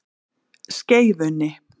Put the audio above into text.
Skeifunni